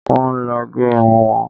Wọ́n lọ gẹ irun wọn